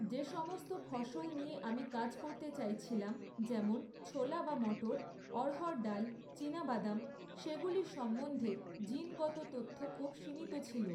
যেসমস্ত ফসল নিয়ে আমি কাজ করতে চাইছিলাম, যেমন, ছোলা বা মটর, অড়হর ডাল, চীনাবাদাম, সেগুলি সম্বন্ধে জিনগত তথ্য খুব সীমিত ছিল।